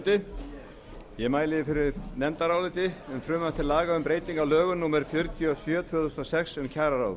þrjú hundruð áttatíu um frumvarp til laga um breytingu á lögum númer fjörutíu og sjö tvö þúsund og sex um kjararáð